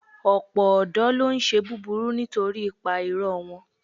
Ọ̀pọ̀ ọ̀dọ́ ló ń ṣe búburú nítorí ipa ìrọ̀ wọn.